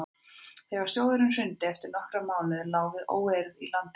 þegar sjóðurinn hrundi eftir nokkra mánuði lá við óeirðum í landinu